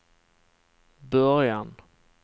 början